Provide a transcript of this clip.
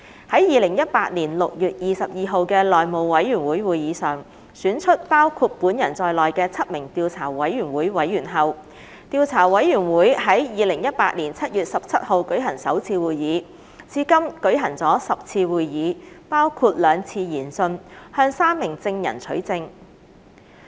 於2018年6月22日的內務委員會會議上選出包括本人在內的7名調查委員會委員後，調查委員會於2018年7月17日舉行首次會議，至今共舉行了10次會議，包括兩次研訊，向3名證人取證。